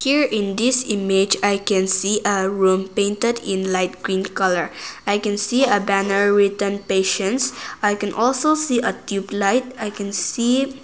here in this image i can see a room painted in light green colour i can see a banner written patience i can also see a tubelight I can see --